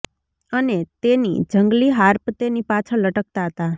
અને તેની જંગલી હાર્પ તેની પાછળ લટકતા હતા